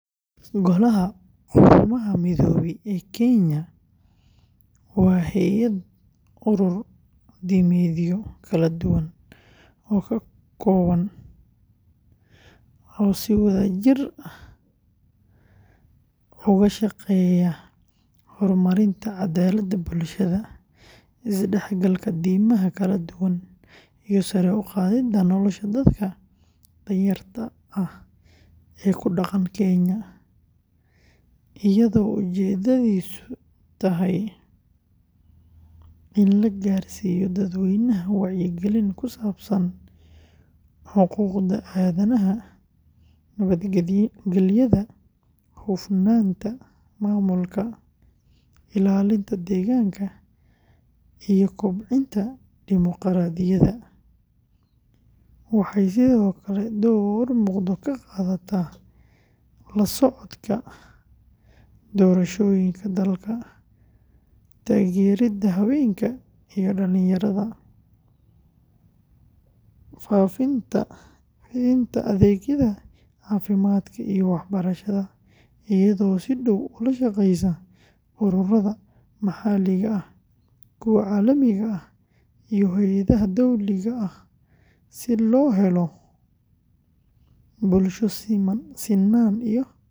Golaha Quruumaha Midoobay ee Kenya, waa hay’ad urur diimeedyo kala duwan ka kooban oo si wadajir ah uga shaqeeya horumarinta cadaaladda bulshada, isdhexgalka diimaha kala duwan, iyo sare u qaadidda nolosha dadka danyarta ah ee ku dhaqan Kenya, iyadoo ujeeddadiisu tahay in la gaarsiiyo dadweynaha wacyi gelin ku saabsan xuquuqda aadanaha, nabadgelyada, hufnaanta maamulka, ilaalinta deegaanka, iyo kobcinta dimuqraadiyadda, waxay sidoo kale door muuqda ka qaadataa la socodka doorashooyinka dalka, taageerida haweenka iyo dhalinyarada, fidinta adeegyada caafimaadka iyo waxbarashada, iyadoo si dhow ula shaqeysa ururrada maxalliga ah, kuwa caalamiga ah, iyo hay’adaha dowliga ah si loo helo bulsho sinnaan iyo sinaan ku dhisan.